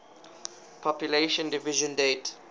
population division date